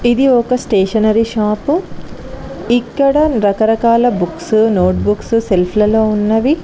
ఇది ఒక stationery shop ఇక్కడ రకరకాల బుక్స్ నోట్ బుక్స్ సెల్ఫ్ లలో ఉన్నవి.